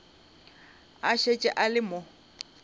a šetše a le mo